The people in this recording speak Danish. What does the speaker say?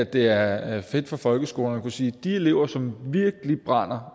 det er er fedt for folkeskolerne at kunne sige de elever som virkelig brænder